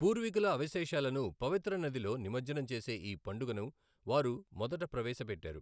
పూర్వీకుల అవశేషాలను పవిత్ర నదిలో నిమజ్జనం చేసే ఈ పండుగను వారు మొదట ప్రవేశపెట్టారు.